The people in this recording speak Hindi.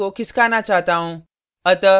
मैं layer को खिसकाना चाहता हूँ